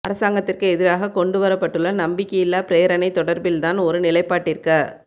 அரசாங்கத்திற்கு எதிராக கொண்டுவரப்பட்டுள்ள நம்பிக்கையில்லா பிரேரணை தொடர்பில் தான் ஒரு நிலைப்பாட்டிற்க